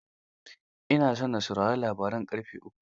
Ina so na saurari labaran ƙarfe uku.